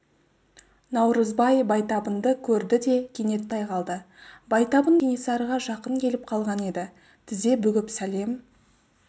наурызбай байтабынды көрді де кенет тоқтай қалды байтабын кенесарыға жақын келіп қалған еді тізе бүгіп сәлем